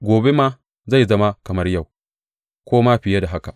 Gobe ma zai zama kamar yau, ko ma fiye da haka.